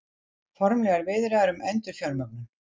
Formlegar viðræður um endurfjármögnun